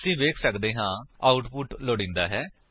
ਅਸੀ ਵੇਖ ਸੱਕਦੇ ਹਾਂ ਆਉਟਪੁਟ ਲੋੜੀਂਦਾ ਹੈ